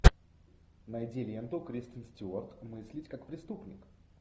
найди ленту кристен стюарт мыслить как преступник